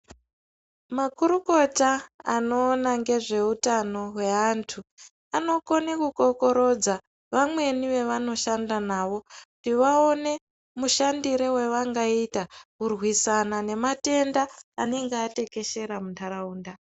Makurukota anoona ngezveutano weantu anokone kukokorodza vamweni aanoshanda nawo kuti vaone mushandiro wavangaita kurwisana nematenda anenge atekeshera muntaraunda.